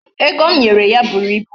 Ego m nyere ya buru ibu.